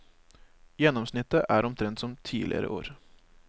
Gjennomsnittet er omtrent som tidlegare år.